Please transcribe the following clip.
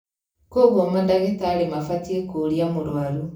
Koguo mandagĩtarĩ mabatiĩ kũũria mũrũaru